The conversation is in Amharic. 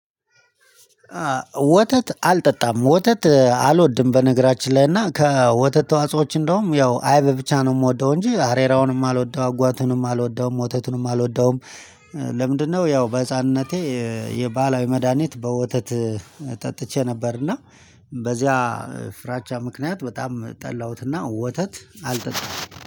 ወተት አልጠጣም ወተት አልወድም በነገራችን ላይ እና ከወተት ተዋጽኦዎች እንደውም ያው አይበ ብቻ ነው የምወደው እንጂ አሬራውንም አልወደው አጓቱንም አልወደው ሞተቱንም አልወደውም። ለምንድነው? ያው በህፃንነቴ የባህላዊ መድሃኒት በወተት ጠጥቼ ነበር እና። በዚያ ፍራቻ ምክንያት በጣም ጠላሁትና ወተት አልጠጣም።